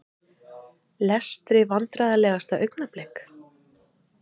Lestri Vandræðalegasta augnablik?